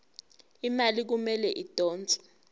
imali kumele idonswe